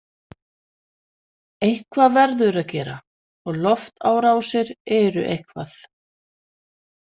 Eitthvað verður að gera og loftárásir eru eitthvað.